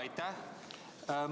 Aitäh!